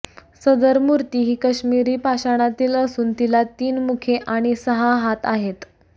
सदर मूर्ती ही काश्मिरी पाषाणातील असून तिला तीन मुखे आणि सहा हात आहेत